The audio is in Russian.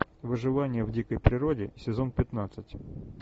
выживание в дикой природе сезон пятнадцать